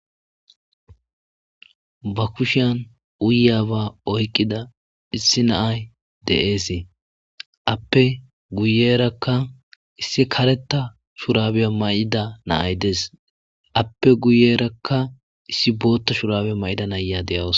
Ba kushshiyan uyizaba oyiqida gashshe nay beettes appe guyerakka kareththa mayo mayidiranne ape guyera booththa mayidara dawus